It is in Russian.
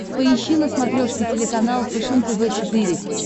поищи на смотрешке телеканал фэшен тв четыре к